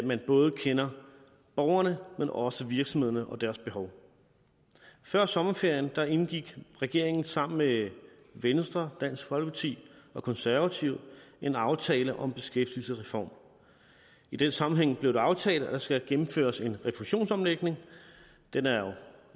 man både kender borgerne men også virksomhederne og deres behov før sommerferien indgik regeringen sammen med venstre dansk folkeparti og konservative en aftale om en beskæftigelsesreform i den sammenhæng blev det aftalt at der skal gennemføres en refusionsomlægning den er jo